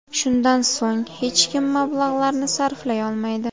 Shundan so‘ng hech kim mablag‘larni sarflay olmaydi.